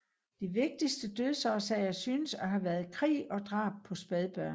De vigtigste dødsårsager synes at have været krig og drab på spædbørn